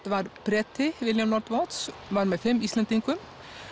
var Breti William lord Watts var með fimm Íslendingum